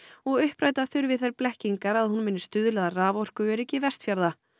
og uppræta þurfi þær blekkingar að hún muni stuðla að raforkuöryggi Vestfjarða